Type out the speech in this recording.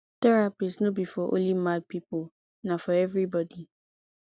therapist no be for only mad pipo na for everybody